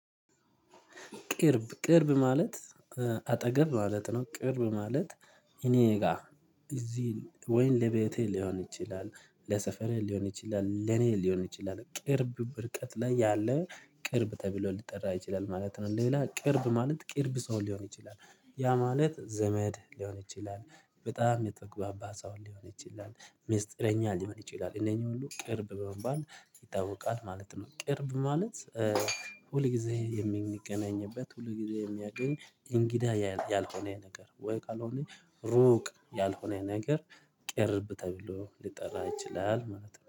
ቅርብ ቅርብ ማለት አጠገብ ማለት ነው። ቅርብ ማለት እኔ ጋር እዚህ ወይም ለቤቴ ሊሆን ይችላል ለሰፈሬ ሊሆን ይችላል ለኔ ሊሆን ይችላል ቅርብ ብርቀት ላይ ያለ ቅርብ ተብሎ ሊጠራ ይችላል ማለት ነው። ሌላ ቅርብ ማለት ቅርብ ሰው ሊሆን ይችላል ያ ማለት ዘመድ ሊሆን ይችላል በጣም የጠግባባ ሰው ሊሆን ይችላል ሚስጥረኛ ሊሆን ይችላል እነኚህ ሁሉ ቅርብ በመባል ይታወቃል ማለት ነው። ቅርብ ማለት ሁል ጊዜ የምንገናኝበት ሁል ጊዜ የሚያገኝ እንግዳ ያልሆነ ነገር ወይ ካልሆነ ሩቅ ያልሆነ ነገር ቅርብ ተብሎ ሊጠራ ይችላል ማለት ነው